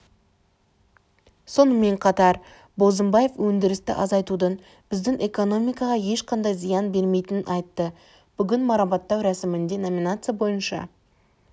сонымен қатар бозымбаев өндірісті азайтудың біздің экономикаға ешқандай зиян бермейтінін айтты бүгін марапаттау рәсімінде номинация бойынша